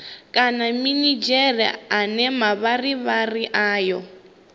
kana minidzhere ane mavharivhari ayo